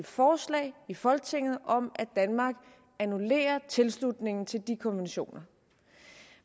forslag i folketinget om at danmark annullerer tilslutningen til de konventioner